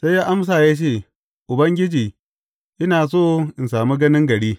Sai ya amsa ya ce, Ubangiji, ina so in sami ganin gari.